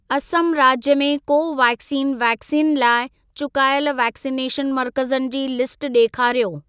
असम राज्य में Covaxin vaccine लाइ चुकायल वैक्सिनेशन मर्कज़नि जी लिस्ट ॾेखारियो।